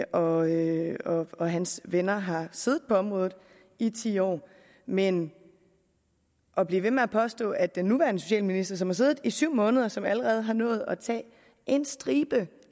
og og hans venner har siddet på området i ti år men at blive ved med at påstå at den nuværende socialminister som har siddet i syv måneder og som allerede har nået at tage en stribe